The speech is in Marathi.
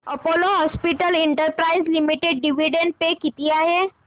Apollo hospitals enterprise limited dividend pay किती आहे